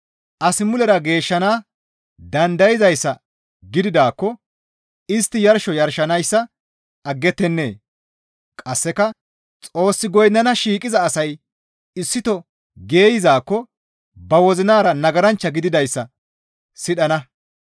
As mulera geeshshana dandayzayssa gididaakko istti yarsho yarshanayssa aggettenee? Qasseka Xoos goynnana shiiqiza asay issito geeyzaakko ba wozinara nagaranchcha gididayssa sidhana.